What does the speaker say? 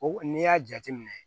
O n'i y'a jateminɛ